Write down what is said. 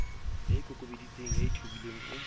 ya ikokobeditseng ya ithobileng o